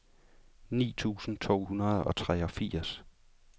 ni tusind to hundrede og treogfirs